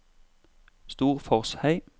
Storforshei